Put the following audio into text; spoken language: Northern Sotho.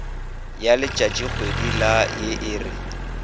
ya letšatšikgwedi la ye e